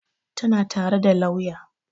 Tana tare da lauya